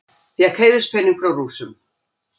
Fékk heiðurspening frá Rússum